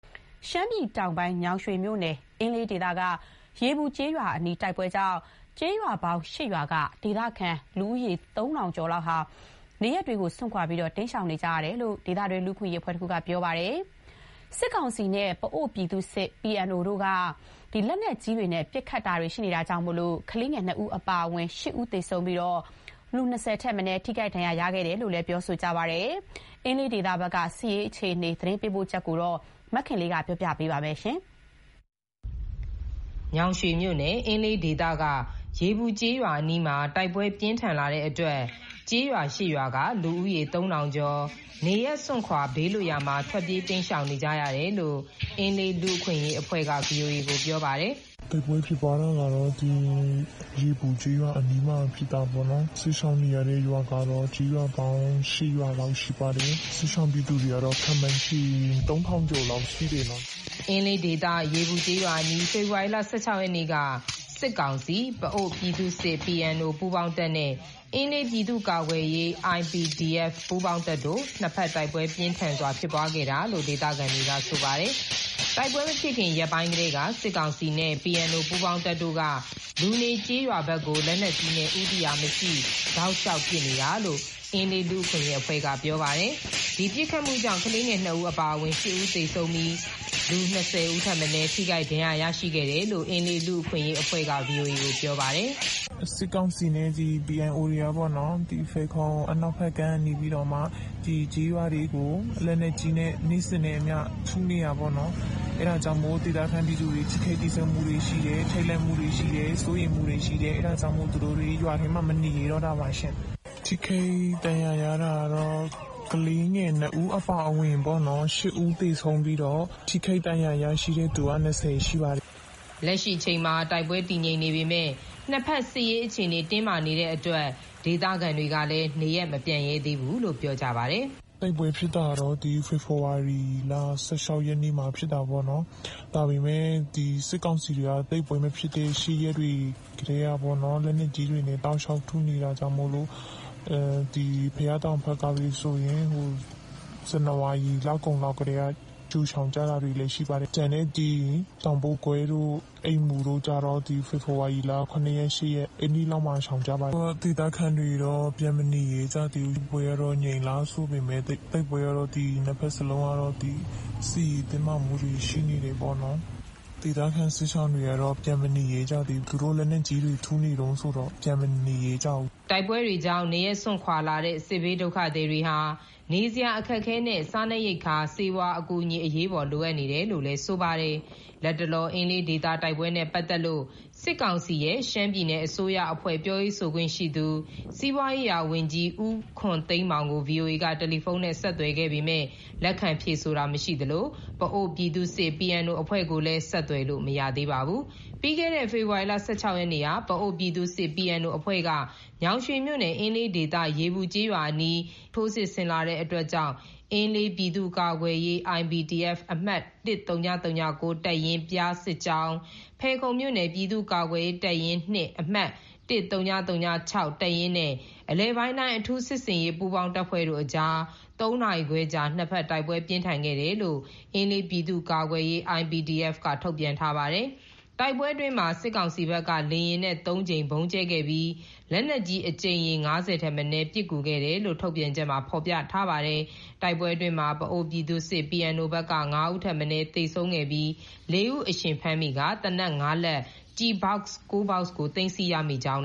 ရှမ်းပြည်တောင်ပိုင်း ညောင်ရွှေမြို့နယ် အင်းလေးဒေသ ရေပူကျေးရွာအနီးက တိုက်ပွဲကြောင့် ဒေသခံတွေ နေရပ်စွန့်ခွာ တိမ်းရှောင်နေကြရပါတယ်။ စစ်ကောင်စီနဲ့ ပအိုဝ်းပြည်သူ့စစ် ရဲ့ လက်နက်ကြီး ပစ်ခတ်မှုကြောင့် ကလေးငယ် ၂ ဦး အပါအဝင် ၈ ဦး သေဆုံးပြီး ၂၀ ထက်မနည်း ထိခိုက်ဒဏ်ရာ ရရှိခဲ့တယ်လို့ ဒေသခံတွေက ပြောပါတယ်။ အင်းလေးဒေသ စစ်ရေးအခြေအနေ ရန်ကုန်ကသတင်းပေးပို့ ထားပါတယ်။ ညောင်ရွှေမြို့နယ် အင်းလေးဒေသက ရေပူကျေးရွာအနီးမှာ တိုက်ပွဲ ပြင်းထန်းလာတာကြောင့် ကျေးရွာ ၈ ရွာ လူဦးရေ ၃,၀၀၀ ကျော် နေရပ်စွန့်ခွာ ဘေးလွတ်ရာကို ထွက်ပြေး တိမ်းရှောင်ခဲ့ရတယ်လို့ အင်းလေး လူ့အခွင့်အရေးအဖွဲ့က ဗွီအိုအေကို ပြောပါတယ်။ “တိုက်ပွဲ ဖြစ်ပွားတာက ရေပူကျေးရွာမှာ ဖြစ်တာပေ့ါ၊ စစ်ရှောင်နေရတဲ့ ရွာကတော့ ကျေးရွာပေါင်း ၈ ရွာလောက်ရှိပါတယ်၊ စစ်ရှောင်ပြည်သူတွေကတော့ ခန့်မှန်းခြေ ၃၀၀၀ ကျော်လောက် ရှိတယ်နော်။” အင်းလေးဒေသ ရေပူကျေးရွာအနီး ဖေဖော်ဝါရီ ၁၆ ရက်နေ့က စစ်ကောင်စီ ၊ ပအိုဝ်းပြည်သူ့စစ် ပူးပေါင်းတပ် နဲ့ အင်းလေးပြည်သူ့ကာကွယ်ရေး ပူးပေါင်းတပ်တို့ နှစ်ဖက် တိုက်ပွဲပြင်းထန် ဖြစ်ပွားခဲ့တာလို့ ဒေသခံတွေက ဆိုပါတယ်။ တိုက်ပွဲ မဖြစ်ခင် ရက်ပိုင်းကတည်းက စစ်ကောင်စီနဲ့ PNO ပူးပေါင်းတပ်တို့က လူနေ ကျေးရွာဘက်ကို လက်နက်ကြီးနဲ့ ဦးတည်ရာမရှိ တောက်လျောက်ပစ်နေတာလို့ အင်းလေးလူ့အခွင့်အရေးအဖွဲ့က ပြောပါတယ်။ ဒီပစ်ခတ်မှုကြောင့် ကလေးငယ် ၂ ဦး အပါအဝင် ၈ ဦး သေဆုံးပြီး ၂၀ ထက်မနည်း ထိခိုက်ဒဏ်ရာ ရရှိခဲ့တယ်လို့ အင်းလေး လူ့အခွင့်အရေးအဖွဲ့က ဗွီအိုအေကို ပြောပါတယ်။ “စစ်ကောင်စီနဲ့ ဒီ PNO တွေကပေ့ါနော်၊ ဖယ်ခုံ အနောက်ဖက်ကမ်းကနေပြီးမှ ဒီကျေးရွာတွေကို လက်နက်ကြီးနဲ့ နေ့စဉ်နဲ့အမျှ ထုနေတာပေ့ါနော်။ အဲ့ဒါကြောင့် ဒေသပြည်သူတွေ ထိခိုက်သေဆုံးမှုတွေ ရှိတယ်၊ ထိတ်လန့်မှုတွေ ရှိတယ်၊ စိုးရိမ်မှုတွေ အဲ့ဒါကြောင့်မို့ သူတို့တွေ ရွာထဲမှာ မနေရဲတော့တာပေါ့ရှင်။ ထိခိုက်ဒဏ်ရာ တာကတော့ ကလေးငယ် နှစ်ဦး အပါအဝင်ပေါ့နော် ၈ ဦးသေဆုံးပြီးတော့ ထိခိုက်ဒဏ်ရာရရှိတဲ့သူက ၂၀ ရှိပါတယ်ရှင်။” လက်ရှိအချိန်မှာ တိုက်ပွဲ တည်ငြိမ်နေပေမယ့် နှစ်ဖက် စစ်ရေးအခြေအနေ တင်းမာနေတာကြောင့် ဒေသခံတွေ နေရပ်မပြန်ရဲသေးဘူးလို့ ပြောပါတယ်။ “တိုက်ပွဲဖြစ်တာက ဖေဖော်ဝါရီ ၁၆ ရက်နေ့မှာ ဖြစ်တာပေါ့နော်၊ ဒါပေမဲ့ ဒီစစ်ကောင်စီတွေက တိုက်ပွဲမဖြစ်တဲ့ ရှေ့ရက်တွေ ကတည်းကပေါ့နော်၊ လက်နက်ကြီးတွေနဲ့ တောက်လျောက် ထုနေတာကြောင့်မို့ ဘုရားတောင်ဘက်ကဆိုရင် ဇန်နဝါရီလကုန် လောက်ကတည်းက ကြိုရှောင်ကြတာတွေ ရှိတယ်ရှင့်။ ကျန်တဲ့ ဒီ တောင်ပို့ကွဲတို့ အိမူတို့ ကျတော့ ဒီဖေဖော်ဝါရီလ ၇ ရက် ၈ ရက် အဲ့နေ့လောက်မှာ ရှောင်ကြပါတယ်၊ အခုက ဒေသခံတွေတော့ ပြန်မနေရဲကြသေးဘူးရှင်၊ တိုက်ပွဲကတော့ ငြိမ်လာတယ်ဆိုပေမယ့် နှစ်ဖက်စလုံးက စစ်ရေးတင်းမာမှုတွေ ရှိနေတယ်ပေါ့နော်၊ ဒေသခံစစ်ရှောင်တွေကတော့ ပြန်မနေရဲကြသေးဘူးပေါ့၊ သူတို့ လက်နက်ကြီးတွေ ထုနေတုန်းဆိုတော့ ပြန်မနေရဲကြဘူးရှင်။” တိုက်ပွဲကြောင့် နေရပ်စွန့်လာတဲ့ စစ်ဘေးဒုက္ခသည်တွေဟာ နေစရာ အခက်အခဲနဲ့ စားနပ်ရိက္ခာ၊ ဆေးဝါး အကူအညီ အရေးပေါ် လိုအပ်နေတယ်လို့ ဆိုပါတယ်။ လတ်တလော အင်းလေးဒေသ တိုက်ပွဲနဲ့ပတ်သက်လို့ စစ်ကောင်စီရဲ့ ရှမ်းပြည်နယ်အစိုးရအဖွဲ့ ပြောရေးဆိုခွင့်ရှိသူ စီးပွားရေးရာဝန်ကြီး ဦးခွန်သိန်းမောင်ကို ဗွီအိုအေက တယ်လီဖုန်းနဲ့ ဆက်သွယ်ခဲ့ပေမဲ့ လက်ခံဖြေဆိုတာ မရှိသလို ပအိုဝ်းပြည်သူ့စစ် အဖွဲ့ကိုလည်း ဆက်သွယ်လို့ မရသေးပါဘူး။ ပြီးခဲ့တဲ့ ဖေဖော်ဝါရီ ၁၆ ရက်နေ့က ပအိုဝ်းပြည်သူ့စစ် အဖွဲ့က ညောင်ရွှေမြို့နယ် အင်းလေးဒေသ ရေပူကျေးအနီး အင်းအား ၁၀၀ ကျော်လောက် ထိုးစစ် ဆင်လာတာကြောင့် အင်းလေးပြည်သူ့ကာကွယ်ရေး အမှတ် တပ်ရင်း၊ ပျားစစ်ကြောင်း၊ ဖယ်ခုံမြို့နယ် ပြည်သူ့ကာကွယ်ရေးတပ်ရင်း ၂ အမှတ် တပ်ရင်းနဲ့ အလယ်ပိုင်းတိုင်း အထူးစစ်ဆင်ရေး ပူးပေါင်းတပ်ဖွဲ့တို့အကြား ၃ နာရီခွဲကြာ နှစ်ဖက် တိုက်ပွဲပြင်းထန် ခဲ့တယ်လို့ အင်းလေးပြည်သူ့ကာကွယ်ရေး သတင်းထုတ်ပြန်ထားပါတယ်။ တိုက်ပွဲအတွင်းမှာ စစ်ကောင်စီဘက်က လေယာဉ်နဲ့ ၃ ကြိမ် ဗုံးကြဲခဲ့ပြီး လက်နက်ကြီး အကြိမ်ရေ ၅၀ ထက်မနည်း ပစ်ကူခဲ့တယ်လို့ ထုတ်ပြန်ချက်မှာ ဖော်ပြထားပါတယ်။ တိုက်ပွဲအတွင်း ပအိုဝ်းပြည်သူ့စစ် ဘက်က ၅ ဦး ထက်မနည်း သေဆုံးပြီး ၄ ဦး အရှင်ဖမ်းမိကာ သေနတ် ၅ လက်၊ ကျည်ဘောက် ၉ ခု သိမ်းဆည်ရမိကြောင်း